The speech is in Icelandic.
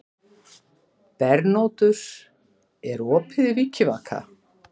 Bernódus, er opið í Vikivaka?